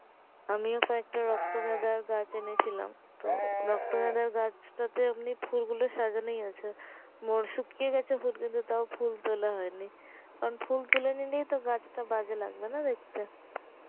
আমিও কয়েকটা রক্ত গাঁদার গাছ এনেছিলাম, তো রক্ত গাঁদার গাছ টাতে ফুল গুলো সাজানোই আছে মোর শুকিয়ে গেছে ফুল কিন্তু টাও ফুল তোলা হয়েনি, কারণ ফুল তুলে নিলেই তো গাছটা বাজে লাগবে না দেখতে